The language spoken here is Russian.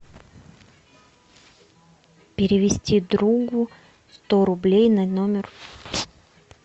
перевести другу сто рублей на номер